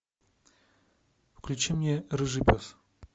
включи мне рыжий пес